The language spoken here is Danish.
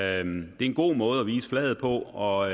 er en god måde at vise flaget på og